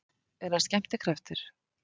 Er hann skemmtikraftur?